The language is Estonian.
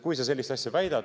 Kui sa sellist asja väidad …